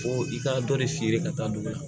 Ko i ka dɔnni feere ka taa don a la